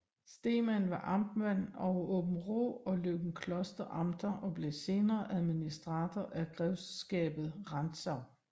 Stemann var amtmand over Aabenraa og Løgumkloster Amter og blev senere administrator af Grevskabet Rantzau